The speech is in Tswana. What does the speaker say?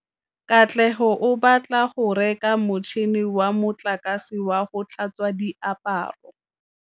Katlego o batla go reka motšhine wa motlakase wa go tlhatswa diaparo.